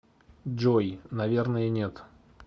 джой наверное нет